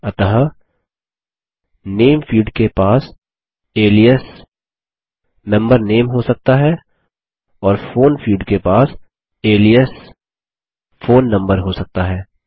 अतः name field के पास अलियास मेंबर नामे हो सकता है और फोन फील्ड के पास अलियास फोन नंबर हो सकता है